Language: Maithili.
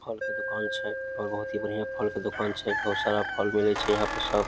फल के दुकान छे और बहुत ही बढ़िया फल के दुकान छे बहुत सारा फल मिले छे यहाँ पे सब।